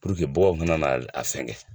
baganw ka na na fɛn kɛ.